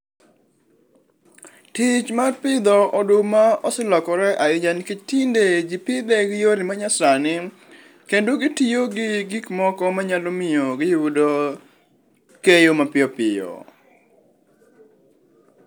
Tich mar pidho oduma oselokore ahinya nikech tinde jii pidhe gi yore ma nyasani kendo gitiyo gi gik moko manyalo miyo giyudo keyo mapiyo piyo